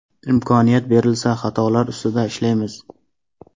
Imkoniyat berilsa xatolar ustida ishlaymiz.